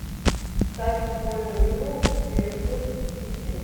ставь футбольную игру ливерпуль сити